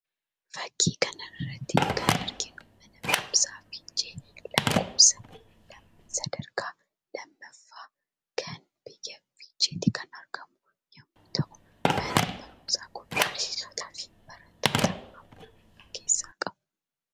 Fakkii kana irratti kan arginu Mana Barumsaa Fiichee Sadarkaa Lammaffaa egaan Biyya Fiicheetti kan argamu yoo ta'u Manni Barumsaa kun Barsiisotaafi Barattoota hammam of keessaa qaba?